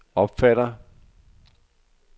opfatter